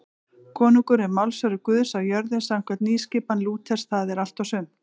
Konungur er málsvari Guðs á jörðu samkvæmt nýskipan Lúters, það er allt og sumt.